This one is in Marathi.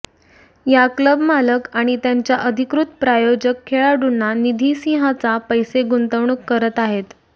या क्लब मालक आणि त्यांच्या अधिकृत प्रायोजक खेळाडूंना निधी सिंहाचा पैसे गुंतवणूक करत आहेत